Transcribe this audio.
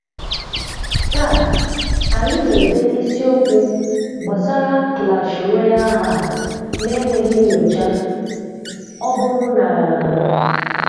Taa, anyị na-ede isiokwu gbasara Clash Royale hack na-enweghị nnyóchà. Ọ bụrụ na…